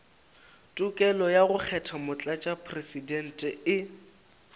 tokelo ya go kgetha motlatšamopresidente